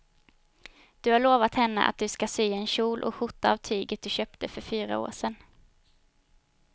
Du har lovat henne att du ska sy en kjol och skjorta av tyget du köpte för fyra år sedan.